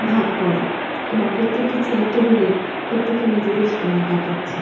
ভাগ করা এবং প্রত্যেকটি চেয়ার টেবিলে প্রত্যেকে নিজেদের সময় কাটাচ্ছে ।